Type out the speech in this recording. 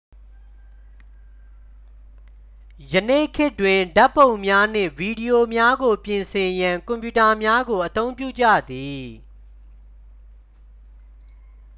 ယနေ့ခေတ်တွင် ဓာတ်ပုံများနှင့် ဗီဒီယိုများကို ပြင်ဆင်ရန် ကွန်ပျူတာများကို အသုံးပြုကြသည်